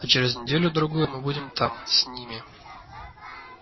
а через неделю-другую мы будем там с ними